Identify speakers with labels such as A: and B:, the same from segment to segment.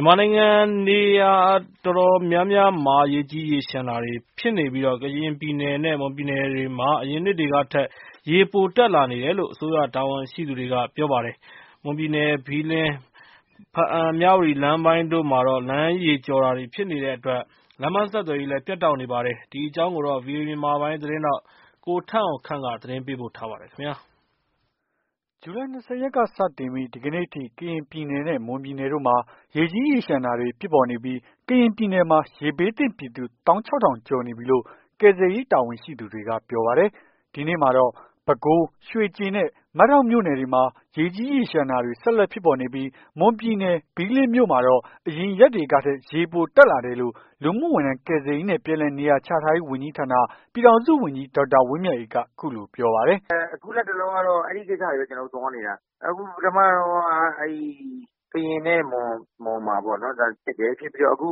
A: မြန်မာနိုင်ငံနေရာတော်တော်များများမှာ ရေကြီးရေလျှံတာတွေဖြစ်နေပြီး ကရင်ပြည်နယ်နဲ့ မွန်ပြည်နယ်တို့မှာ အရင်နှစ်တွေကထက် ရေပိုတက်လာတယ်လို့ အစိုးရတာဝန်ရှိသူတွေက ဆိုပါတယ်။ မွန်ပြည်နယ်၊ ဘီးလင်း၊ ဘားအံ့၊ မြဝတီလမ်းပိုင်းတို့မှာတော့ လမ်းရေကျော်တာတွေ ဖြစ်နေတဲ့အတွက် လမ်းပန်းဆက်သွယ်ရေး ပြတ်တောက်နေပါတယ်။ ဒီအကြောင်းကို ဗွီအိုအေ မြန်မာပိုင်း သတင်းထောက် ကိုထက်အောင်ခန့်က သတင်းပေးပို့ထားပါတယ်။ ဇူလိုင် ၂၀ ရက်က စတင်ပြီး ဒီကနေ့အထိ ကရင်ပြည်နယ်နဲ့ မွန်ပြည်နယ်တို့မှာ ရေကြီးရေလျှံတာတွေ ဖြစ်ပေါ်နေပြီး ကရင်ပြည်နယ်မှာ ရေဘေးသင့်ပြည်သူ ၁၆,၀၀၀ ကျော်နေပြီလို့ ကယ်ဆယ်ရေးတာဝန်ရှိ သူတွေက ပြောပါတယ်။ ဒီနေ့မှာတော့ ပဲခူး၊ ရွှေကျင်နဲ့ မဒေါက်မြို့နယ်တွေမှာ ရေကြီးရေလျှံတာတွေ ဆက်လက်ဖြစ်ပေါ်နေပြီး မွန်ပြည်နယ် ဘီးလင်းမြို့မှာတော့ အရင်ရက်တွေကထက် ရေပိုတက်လာတယ်လို့ လူမှုဝန်ထမ်း ကယ်ဆယ်ရေးနဲ့ ပြန်လည်နေရာချထားရေး ဝန်ကြီးဌာန ပြည်ထောင်စုဝန်ကြီး ဒေါက်တာ ဝင်းမြတ်အေးက အခုလိုပြောပါတယ်
B: ။ "အခုလက်တလောကတော့ အဲ့ကိစ္စတွေပဲ ကျနော်တို့သွားနေတာ။ အခုပထမတုန်းက အဲ့ဒီ ကရင်နဲ့မွန်မှာ ဖြစ်တယ်။ ဖြစ်ပြီးတော့ အခု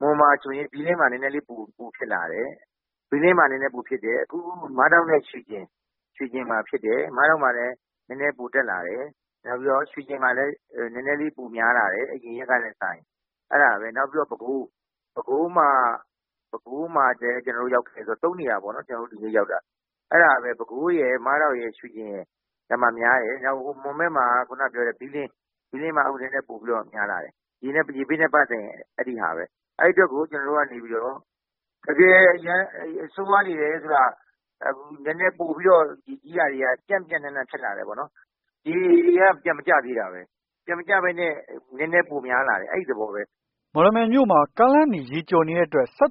B: မွန်မှာဆိုရင် ဒီနေ့မှာနည်းနည်းလေး ပိုဖြစ်လာတယ်။ ဘီးလင်းမှာ နည်းနည်း ပိုဖြစ်တယ်။ အခုမဒေါက်နဲ့ရွှေကျင်မှာ ဖြစ်တယ်။ မဒေါက်မှာလည်း နည်းနည်းပို တက်လာတယ်။ ရွှေကျင်မှာလည်း နည်းနည်းလေး ပိုများလာတယ် အရင်ရက်ကထက်စာရင် အဲ့ဒါပဲ နောက်ပြီးတော့ ပဲခူး၊ ပဲခူးမှာလည်း ကျနော်တို့ရောက်ခဲ့တယ်ဆိုတော့ ၃ နေရာပေါ့။ ကျနော်တို့ ဒီနေ့ရောက်တာ။ အဲ့ဒါပဲ ပဲခူးရယ်၊ ရွှေကျင်ရယ်၊ မဒေါက်ရယ်မှာ များတယ်။ မွန်ဘက်မှာက ခုနက ပြောတဲ့ ဘီးလင်း၊ ဘီးလင်းမှာ နည်းနည်းပိုပြီး များလာတယ်။ ရေဘေးနဲ့ပတ်သက်ရင် အဲ့ဒီဟာပဲ။ အဲ့ အတွက်ကို ကျနော်တို့ကနေပြီးတော့ တကယ် အရမ်းဆိုးရွားနေတယ်ဆိုတာ နည်းနည်းပိုပြီးတော့ ရေကြီးတာတွေက ပျံ့ပျံ့နှံ့နှံ့ဖြစ်လာတယ်ပေါ့နော်။ ရေကပြန်မကျသေးတာပဲ။ ပြန်မကျဘဲနဲ့ နည်းနည်း ပိုများလာတယ်။ အဲ့သဘောပဲ။
A: " လမ်းပန်းဆက်သွယ်ရေး အခြေအနေကိုတော့ ဘားအံ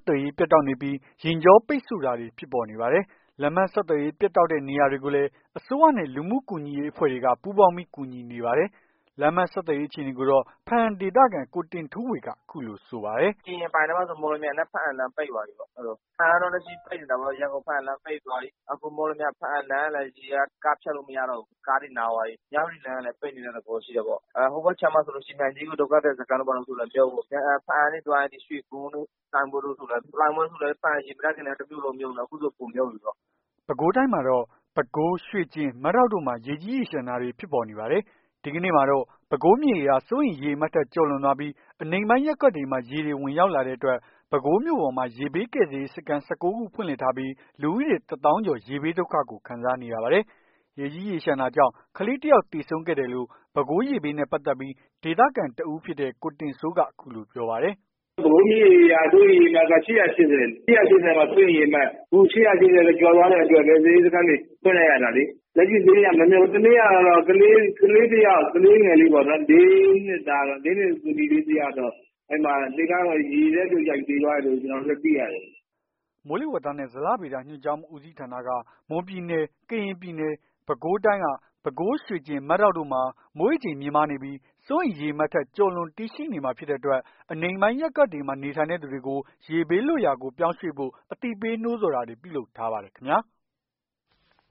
A: ့ဒေသခံ ကိုတင့်ထူးဝေက အခုလိုဆိုပါတယ်။ "
B: ကရင်အပိုင်ထဲမှာဆိုရင် မော်လမြိုင် ဘားအံ့လမ်းပိတ်သွားပြီ။ လက်ရှိမှာ ရန်ကုန်-ဘားအံ့လမ်း ပိတ်သွားပြီ။ မော်လမြိုင်-ဘားအံ့လမ်းကလည်း ရေက ကားဖြတ်လို့မရတော့ဘူး။ ကားတွေနားသွားပြီ။ မြဝတီလမ်းကလည်း ပိတ်နေတဲ့ သဘောရှိတာပေါ့။ ဟိုဘက်ခြမ်းမှာဆိုရင်လည်း မြိုင်ကြီးငူ ဒုက္ခသည် စခန်းတို့လည်း မြုပ်ပေါ့။ ဘားအံ့ကနေသွားရင် ရွှေဂွန်းတို့၊ လှိုင်းဘွ့ဲတို့ လှိုင်းဘွဲ့ဆိုလည်း ဘားအံ့ ရေမတက်ခင်ကတည်းက တမြို
A: ့လုံးမြုပ်နေတာ အခုဆိုပိုမြုပ်ပြီပေါ့။” ပဲခူးတိုင်းမှာတော့ ပဲခူး၊ ရွှေကျင်နဲ့ မဒေါက် တို့မှာ ရေကြီးရေလျှံနေပါတယ်။ ဒီကနေ့မှာတော့ ပဲခူးမြစ်ရေဟာ စိုးရိမ်ရေအမှတ်ထက် ကျော်လွန်သွားပြီး အနိမ့်ပိုင်းရပ်ကွက်တွေမှာ ရေတွေဝင်ရောက်လာတဲ့အတွက် ပဲခူးမြို့ပေါ်မှာ ရေဘေးကယ်ဆယ်ရေး စခန်း ၁၉ ခုဖွင့်လှစ်ထားပြီး လူဦးရေ ၁ သောင်းကျော် ရေဘေး ဒုက္ခကို ခံစားနေရပါတယ်။ ရေကြီးရေလျံတာကြောင့် ကလေးတယောက် သေဆုံးခဲ့တယ်လို့ ပဲခူးရေဘေးနဲ့ပတ်သက်ပြီး ဒေသခံတစ်ဦး ကိုတင်စိုးကတော့ အခုလိုပြောပါတယ်။ “ပဲခူးမြစ်ရေက စိုးရိမ်ရေအမှတ်က ၈၈၀ လေ။ ၈၈၀ မှာ စိုးရိမ်ရေအမှတ်။ အခု ၈၈၀ ကို ကျော်သွားတဲ့အတွက် ကယ်ဆယ်ရေး စခန်းတွေ ဖွင့်လိုက်ရတာလေ။ တနေ့ကတော့ ကလေးတယောက်၊ ကလေးငယ်လေးပေါ့ လေးနှစ်သမီးလေး တယောက်တော့ လှေကားပေါ်ကနေ ရေထဲ ပြုတ်ကျပြီး သေသွားတယ်လို့ ကျနော်တို့သိရတယ်။” မိုးလေဝသနဲ့ဇလဗေဒညွှန်ကြားမှူးဦးစီးဌာနက မွန်ပြည်နယ်နဲ့ ကရင်ပြည်နယ်တို့မှာ ပဲခူး၊ ရွှေကျင်နဲ့ မဒေါက်တို့မှာ မိုးရေချိန်မြင့်များနေပြီး စိုးရိမ်ရေအမှတ်ထက် ကျော်လွန်တည်ရှိနေမှာ ဖြစ်တဲ့အတွက် အနိမ့်ပိုင်း ရပ်ကွက်တွေမှာ နေထိုင်သူတွေကို ရေးဘေး လွတ်ရာကို ပြောင်းရွှေ့ဖို့ အသိပေးနှိုးဆော်ထားပါတယ်ခင်ဗျာ။